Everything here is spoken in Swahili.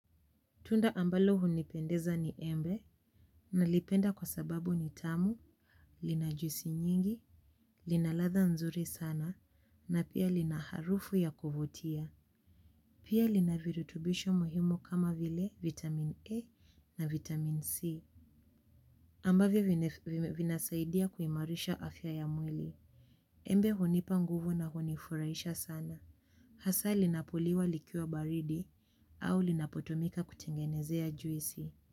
Tunda ambalo hunipendeza ni embe, nalipenda kwa sababu ni tamu, lina juisi nyingi, lina ladha nzuri sana, na pia lina harufu ya kuvutia. Pia lina virutubisho muhimu kama vile vitamin A na vitamin C. Ambavyo vinasaidia kuimarisha afya ya mwili. Embe hunipa nguvu na hunifuraisha sana. Hasa linapoliwa likiwa baridi, au linapotomika kutengenezea juisi.